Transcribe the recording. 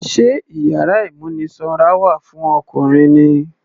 Sé iyàrá ìmúnisanra wà fún Ọkùnrin ni.